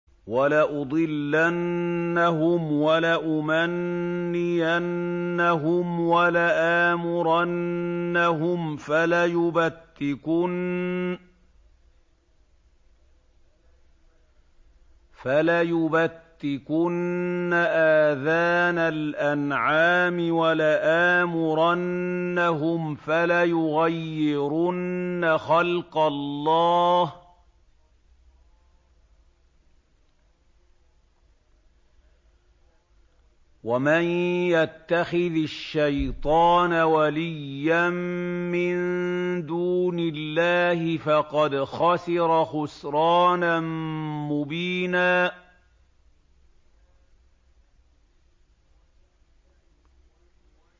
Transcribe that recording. وَلَأُضِلَّنَّهُمْ وَلَأُمَنِّيَنَّهُمْ وَلَآمُرَنَّهُمْ فَلَيُبَتِّكُنَّ آذَانَ الْأَنْعَامِ وَلَآمُرَنَّهُمْ فَلَيُغَيِّرُنَّ خَلْقَ اللَّهِ ۚ وَمَن يَتَّخِذِ الشَّيْطَانَ وَلِيًّا مِّن دُونِ اللَّهِ فَقَدْ خَسِرَ خُسْرَانًا مُّبِينًا